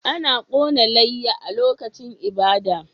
Ana kona layya a lokacin ibada